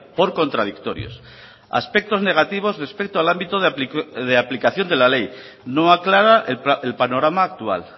por contradictorios aspectos negativos respecto al ámbito de aplicación de la ley no aclara el panorama actual